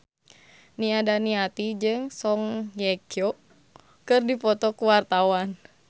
Nia Daniati jeung Song Hye Kyo keur dipoto ku wartawan